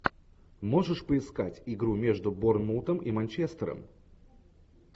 можешь поискать игру между борнмутом и манчестером